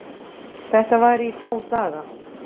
Þetta var í þá daga.